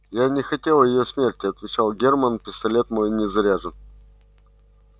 я не хотел её смерти отвечал германн пистолет мой не заряжен